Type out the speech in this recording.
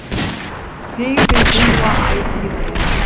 Þig við búa ætíð er